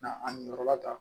Na a yɔrɔ la tan